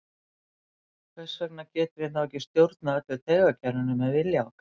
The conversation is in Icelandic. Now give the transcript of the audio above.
Hvers vegna getum við þá ekki stjórnað öllu taugakerfinu með vilja okkar?